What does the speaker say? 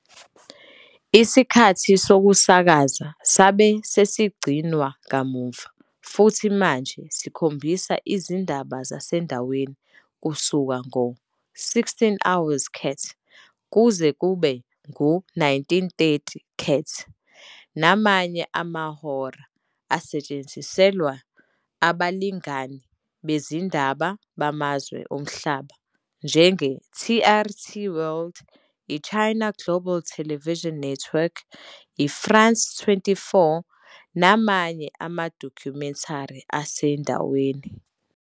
Isikhathi sokusakaza sabe sesigcinwa kamuva futhi manje sikhombisa izindaba zasendaweni kusuka ngo-16:00 CAT kuze kube ngu-19:30 CAT namanye amahora asetshenziselwe abalingani bezindaba bamazwe omhlaba njenge- TRT World, i- China Global Television Network, i- France 24 namanye amadokhumentari asendaweni.